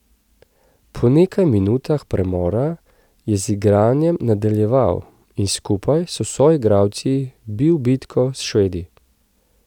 Po nekaj minutah premora je z igranjem nadaljeval in skupaj s soigralci bil bitko s Švedi.